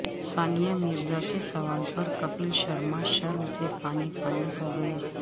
ثانیہ مرزا کے سوال پر کپل شرما شرم سے پانی پانی ہوگئے